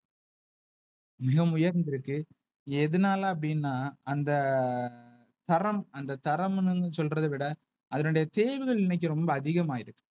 மிக உயர்ந்து இருக்கு. எதுனால அப்டினா, அந்த தரம் அந்த தரம்ன்னு சொல்றதவிட அதனுடைய தேவைகள் இன்னைக்கு ரொம்ப அதிகமாயிருக்கு.